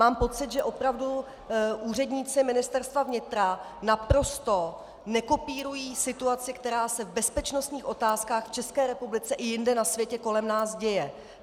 Mám pocit, že opravdu úředníci Ministerstva vnitra naprosto nekopírují situaci, která se v bezpečnostních otázkách v České republice i jinde na světě kolem nás děje.